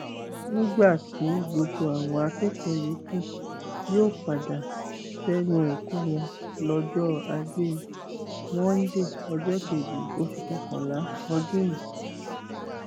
nígbà tí gbogbo àwọn akẹkọọ yòókù yóò padà sẹnu ẹkọ wọn lọjọ ajé monde ọjọ kejì oṣù kọkànlá ọdún yìí